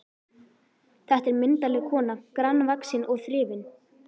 Þetta er myndarleg kona, grannvaxin og þrifin.